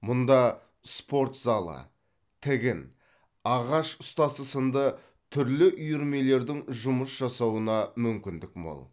мұнда спорт залы тігін ағаш ұстасы сынды түрлі үйірмелердің жұмыс жасауына мүмкіндік мол